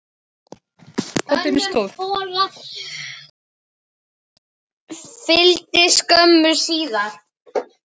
Hver þóttist ég vera?